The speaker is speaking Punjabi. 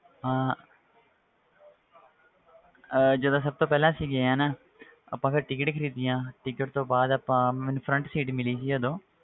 ਹਾਂ ਅਹ ਜਦੋਂ ਸਭ ਤੋਂ ਪਹਿਲਾਂ ਅਸੀਂ ਗਏ ਹਾਂ ਨਾ ਆਪਾਂ ਫਿਰ ticket ਖ਼ਰੀਦੀਆਂ ticket ਤੋਂ ਬਾਅਦ ਆਪਾਂ ਮੈਨੂੰ front seat ਮਿਲੀ ਸੀ ਉਦੋਂ,